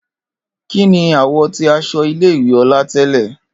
Kini àwọ̀ ti aṣọ ile-iwe Ola tẹlẹ?